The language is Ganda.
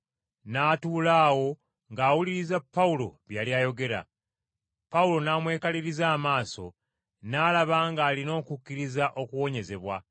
N’atuula awo ng’awuliriza Pawulo bye yali ayogera. Pawulo n’amwekaliriza amaaso n’alaba ng’alina okukkiriza okuwonyezebwa.